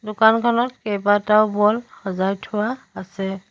দোকানখনত কেইবাটাও বল সজাই থোৱা আছে।